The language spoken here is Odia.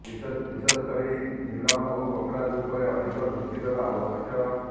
ବିଶେଷକରି ନିଲମ ଓ ପୋଖରାଜ ଉପରେ ଅଧିକ ଦୃଷ୍ଟି ଦେବା ଆବଶ୍ୟକ